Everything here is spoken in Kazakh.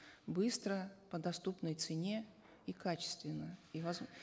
быстро по доступной цене и качественно и